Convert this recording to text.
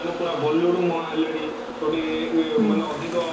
ମାନେ ପୁରା bollywood ମୁହାଁ ହେଲେଣି ମାନେ ଅଧିକ